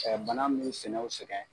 bana mun bu sɛnɛ o sɛgɛn.